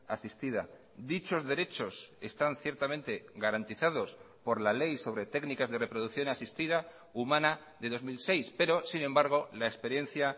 asistida dichos derechos están ciertamente garantizados por la ley sobre técnicas de reproducción asistida humana de dos mil seis pero sin embargo la experiencia